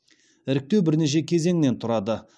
іріктеу бірнеше кезеңнен тұрады